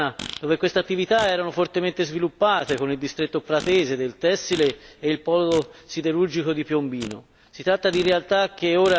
Io vengo da una regione, la Toscana, dove queste attività erano fortemente sviluppate con il distretto pratese del tessile e il polo siderurgico di Piombino.